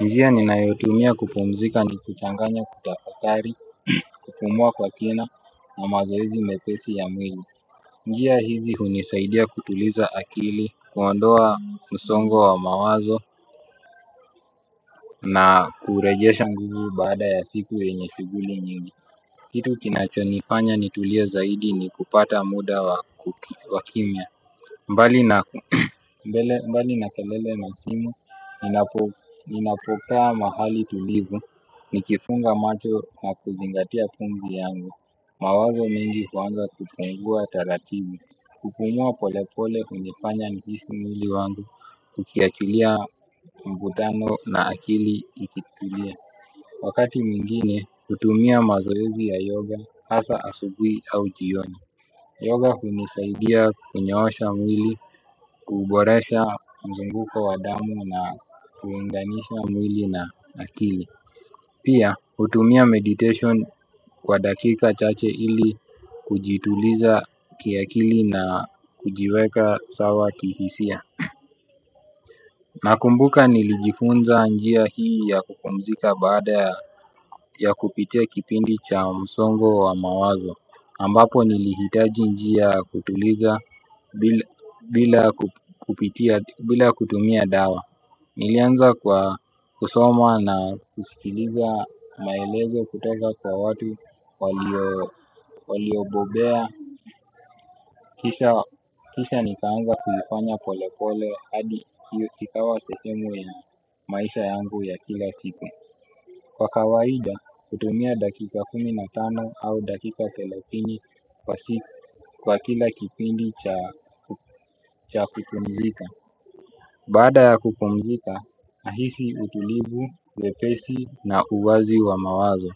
Njia ninayotumia kupumzika ni kuchanganya kutafakari, kupumua kwa kina na mazoezi mepesi ya mwili. Njia hizi hunisaidia kutuliza akili, kuondoa msongo wa mawazo na kurejesha nguvu baada ya siku yenye shughuli nyingi. Kitu kinachonifanya nitulie zaidi ni kupata muda wa kimya mbali na mbali na kelele na simu, ninapokaa mahali tulivu, nikifunga macho na kuzingatia pumzi yangu. Mawazo mengi huanza kupungua taratibu, kupumua polepole hunifanya nihisi mwili wangu, ukiachilia mvutano na akili ikitulia. Wakati mwingine, hutumia mazoezi ya yoga, hasa asubuhi au jioni. Yoga hunisaidia kunyoosha mwili, kuboresha mzunguko wa damu na kuunganisha mwili na akili. Pia, hutumia meditation kwa dakika chache ili kujituliza kiakili na kujiweka sawa kihisia. Nakumbuka nilijifunza njia hii ya kupumzika baada ya kupitia kipindi cha msongo wa mawazo. Ambapo nilihitaji njia ya kutuliza bila kutumia dawa. Nilianza kwa kusoma na kusikiliza maelezo kutoka kwa watu waliobobea. Kisha nikaanza kuifanya pole pole hadi kikawa sehemu ya maisha yangu ya kila siku. Kwa kawaida, hutumia dakika kumi na tano au dakika thelathini kwa kila kipindi cha kupumzika. Baada ya kupumzika, nahisi utulivu, wepesi na uwazi wa mawazo.